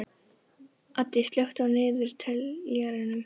Addi, slökktu á niðurteljaranum.